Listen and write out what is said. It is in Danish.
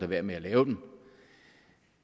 være med at lave dem